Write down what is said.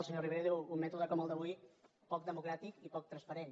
el senyor rivera diu un mètode com el d’avui poc democràtic i poc transparent